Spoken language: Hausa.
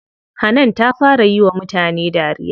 Hanan ta fara yiwa mutane dariya.